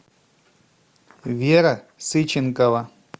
вера сыченкова